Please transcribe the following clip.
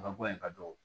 Ka bɔ yen ka do